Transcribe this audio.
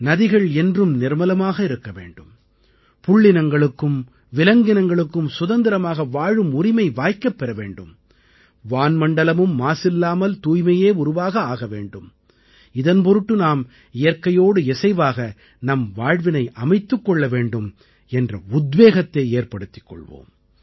நதிகள் என்றும் நிர்மலமாக இருக்க வேண்டும் புள்ளினங்களுக்கும் விலங்கினங்களுக்கும் சுதந்திரமாக வாழும் உரிமை வாய்க்கப் பெறவேண்டும் வான் மண்டலமும் மாசில்லாமல் தூய்மையே உருவாக ஆக வேண்டும் இதன் பொருட்டு நாம் இயற்கையோடு இசைவாக நம் வாழ்வினை அமைத்துக் கொள்ள வேண்டும் என்ற உத்வேகத்தை ஏற்படுத்திக் கொள்வோம்